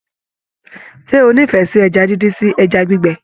Ṣe o n'ifẹ sí ẹja díndín sí ẹja gbígbẹ?